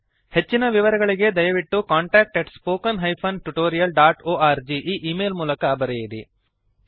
ಹೆಚ್ಚಿನ ವಿವರಗಳಿಗೆ ದಯವಿಟ್ಟು contactspoken tutorialorg ಈ ಈ ಮೇಲ್ ಗೆ ಬರೆಯಿರಿ